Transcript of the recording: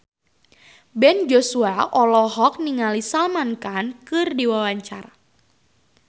Ben Joshua olohok ningali Salman Khan keur diwawancara